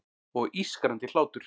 Og ískrandi hlátur.